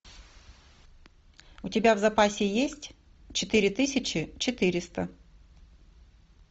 у тебя в запасе есть четыре тысячи четыреста